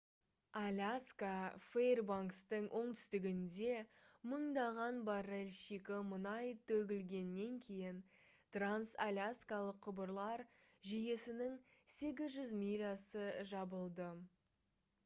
аляска фэйрбанкстың оңтүстігінде мыңдаған баррель шикі мұнай төгілгеннен кейін транс-аляскалық құбырлар жүйесінің 800 милясы жабылды